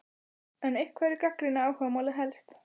En hverjir gagnrýna áhugamálið helst?